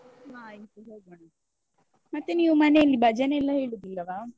ಹಾ ಆಯ್ತು ಹೋಗೋಣ, ಮತ್ತೆ ನೀವು ಮನೆಯಲ್ಲಿ ಭಜನೆ ಎಲ್ಲ ಇಡುದಿಲ್ಲವಾ?